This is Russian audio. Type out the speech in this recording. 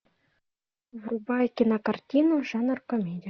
врубай кинокартину жанр комедия